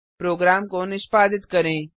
programme को निष्पादित करें